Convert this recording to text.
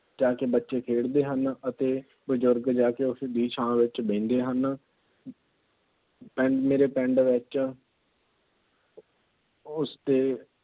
ਜਾ ਕੇ ਬੱਚੇ ਖੇਡਦੇ ਹਨ ਅਤੇ ਬਜ਼ੁਰਗ ਜਾ ਕੇ ਉਸਦੀ ਛਾਂ ਵਿੱਚ ਬਹਿੰਦੇ ਹਨ। ਮੇਰੇ ਪਿੰਡ ਵਿੱਚ ਉਸ ਦੇ